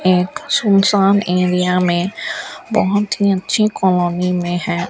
एक सुनसान एरिया में बहोत ही अच्छी कॉलोनी में है।